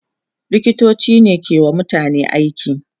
liktoci ne ke wa mutum aiki